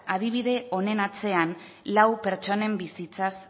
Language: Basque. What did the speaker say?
adibide honen atzean lau pertsonen bizitzaz